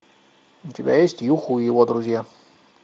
у тебя есть юху и его друзья